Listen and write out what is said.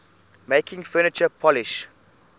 making furniture polish